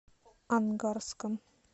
ангарском